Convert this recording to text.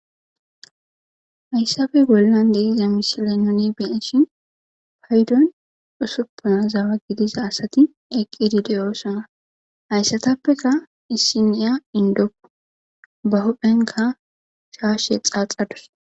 Hayssappe bollan de'za misile nu be'ishin payddon usupuna gidiza asati eqqidi de'ossona. Haysatappekka issini inddo. Ba huuphphenkka shashshe xaaxadus.